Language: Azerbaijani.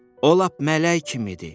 O lap mələk kimidir.